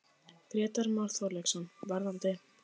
Grétar Már Þorkelsson: Varðandi?